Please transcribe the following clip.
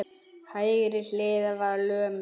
Hægri hliðin var lömuð.